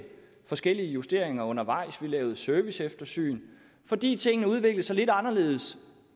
forskellige justeringer undervejs og lavede serviceeftersyn fordi tingene udviklede sig lidt anderledes